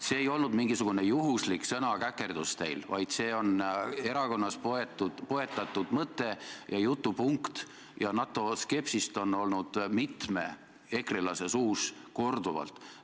See ei olnud teil mingisugune juhuslik sõnakäkerdus, vaid see on erakonnas poetatud mõte ja jutupunkt – NATO-skepsist on mitme ekrelase suust olnud kuulda korduvalt.